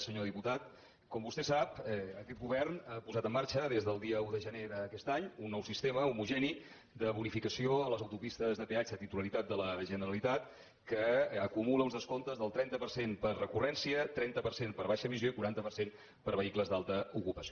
senyor diputat com vostè sap aquest govern ha posat en marxa des del dia un de gener d’aquest any un nou sistema homogeni de bonificació a les autopistes de peatge titularitat de la generalitat que acumula uns descomptes del trenta per cent per recurrència trenta per cent per baixa emissió i quaranta per cent per vehicles d’alta ocupació